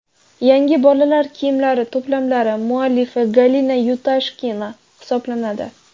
Yangi bolalar kiyimlari to‘plamlari muallifi Galina Yudashkina hisoblanadi.